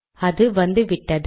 அது வந்துவிட்டது